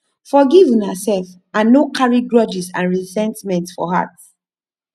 forgive una self and no carry grudges and resentment for heart